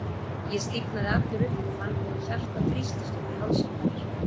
Ég stífnaði allur upp og fann hvernig hjartað þrýstist upp í hálsinn á mér.